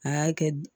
A y'a kɛ